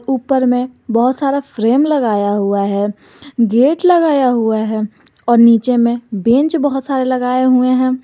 ऊपर में बहुत सारा फ्रेम लगाया हुआ है गेट लगाया हुआ है और नीचे में बैंच बहुत सारे लगाए हुवे हैं।